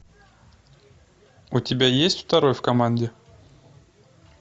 у тебя есть второй в команде